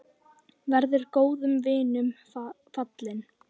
Verður góðum vinum falinn.